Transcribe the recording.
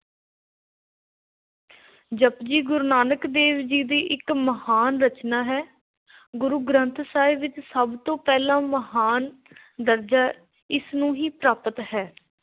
ਜਪੁਜੀ, ਗੁਰੂ ਨਾਨਕ ਦੇਵ ਜੀ ਦੀ ਸਭ ਤੋਂ ਮਹਾਨ ਰਚਨਾ ਹੈ । ਗੁਰੂ ਗ੍ਰੰਥ ਸਾਹਿਬ ਵਿਚ ਸਭ ਤੋਂ ਪਹਿਲਾਂ ਮਹਾਨ ਦਰਜਾ ਇਸ ਨੂੰ ਹੀ ਪ੍ਰਾਪਤ ਹੈ।